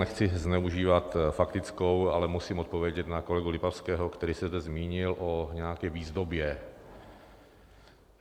Nechci zneužívat faktickou, ale musím odpovědět na kolegu Lipavského, který se zde zmínil o nějaké výzdobě.